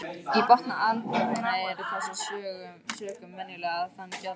Í botni apalhrauna eru af þessum sökum venjulega þunn gjalllög.